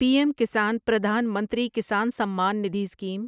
P M Kisan Pradhan Mantri Kisan Samman Nidhi scheme